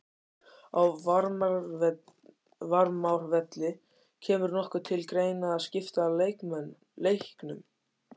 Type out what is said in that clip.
Á Varmárvelli Kemur nokkuð til greina að skipta leiknum?